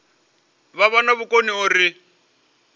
vha vha na vhukoni uri